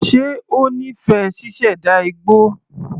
Ṣe ó nífẹ̀ẹ́ ṣíṣẹ̀dá igbó?